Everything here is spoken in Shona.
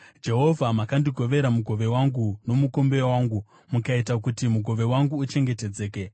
Jehovha, makandigovera mugove wangu nomukombe wangu; mukaita kuti mugove wangu uchengetedzeke.